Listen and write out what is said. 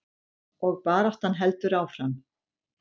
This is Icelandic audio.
Og baráttan heldur áfram.